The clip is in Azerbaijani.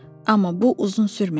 Amma bu uzun sürmədi.